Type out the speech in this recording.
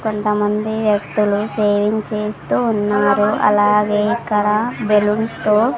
కొంతమంది వ్యక్తులు సేవింగ్ చేస్తూ ఉన్నారు అలాగే ఇక్కడ బెలూన్స్ తో --